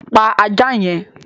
Pa ajá yẹn!